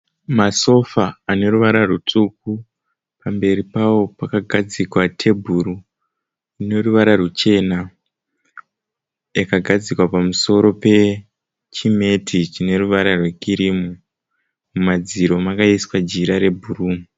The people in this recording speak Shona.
Masofa ane ruvara rutsvuku pamberi pawo pakagadzikwa tebhuru ine ruvara ruchena yakadzikwa pamusoro pechimeti chine ruvara rwekirimu. Mumadziro makaiswa jira rebhuru.